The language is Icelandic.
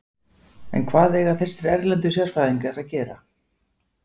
En hvað eiga þessir erlendu sérfræðingar að gera?